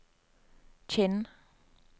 Kinn